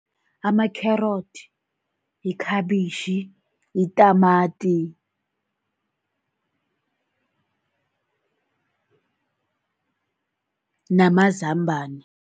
Ama-carrot, yikhabitjhi, yitamati, namazambana.